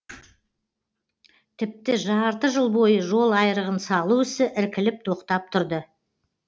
тіпті жарты жыл бойы жол айрығын салу ісі іркіліп тоқтап тұрды